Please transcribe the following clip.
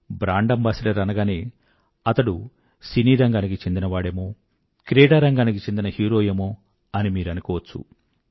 brand ambassador అనగానే అతడు సినీ రంగానికి చెందినవాడేమో క్రీడా రంగానికి చెందిన హీరో ఏమో అని మీరు అనుకోవచ్చు